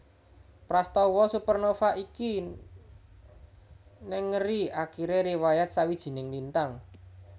Prastawa supernova iki nengeri akiré riwayat sawijining lintang